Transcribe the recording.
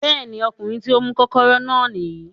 Bẹ́ẹ̀ ni, ọkùnrin tí ó mú kọ́kọ́rọ́ náà nìyí